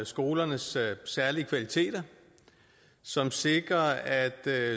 skolernes særlige kvaliteter som sikrer at